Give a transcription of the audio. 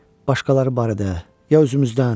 Başqaları barədə, ya özümüzdən?